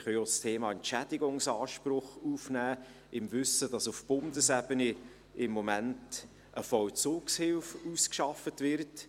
Wir können auch das Thema Entschädigungsanspruch aufnehmen, im Wissen darum, dass auf Bundesebene im Moment eine Vollzugshilfe ausgearbeitet wird.